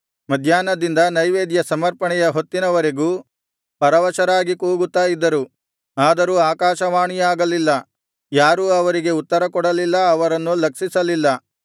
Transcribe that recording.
ಮಧ್ಯಾಹ್ನದಿಂದ ನೈವೇದ್ಯ ಸಮರ್ಪಣೆಯ ಹೊತ್ತಿನವರೆಗೂ ಪರವಶರಾಗಿ ಕೂಗುತ್ತಾ ಇದ್ದರು ಆದರೂ ಆಕಾಶವಾಣಿಯಾಗಲಿಲ್ಲ ಯಾರೂ ಅವರಿಗೆ ಉತ್ತರಕೊಡಲಿಲ್ಲ ಅವರನ್ನು ಲಕ್ಷಿಸಲಿಲ್ಲ